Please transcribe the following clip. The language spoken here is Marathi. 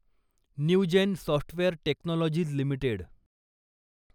Newgen software technologies limited